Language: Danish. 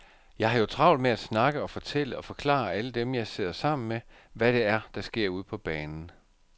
Jeg har jo travlt med at snakke og fortælle og forklare alle dem, jeg sidder sammen med, hvad det er, der sker ude på banen.